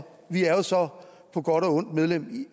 vi er jo så på godt og ondt medlem